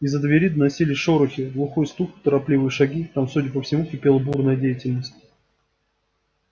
из-за двери доносились шорохи глухой стук торопливые шаги там судя по всему кипела бурная деятельность